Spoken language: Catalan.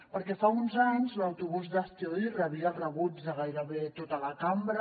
perquè fa uns anys l’autobús d’hazte oír rebia el rebuig de gairebé tota la cambra